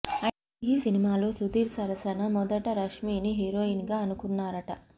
అయితే ఈ సినిమాలో సుధీర్ సరసన మొదట రష్మీని హీరోయిన్గా అనుకున్నారట